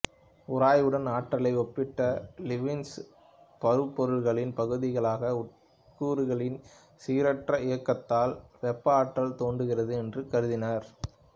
உராய்வுடன் ஆற்றலை ஒப்பிட்ட லீப்னிசு பரு பொருள்களின் பகுதிகளான உட்கூறுகளின் சீரற்ற இயக்கத்தால் வெப்ப ஆற்றல் தோன்றுகிறது என்று கருதினார்